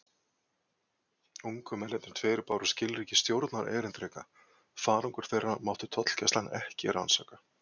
Ungu mennirnir tveir báru skilríki stjórnarerindreka: farangur þeirra mátti tollgæslan ekki rannsaka.